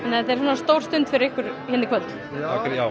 stór stund já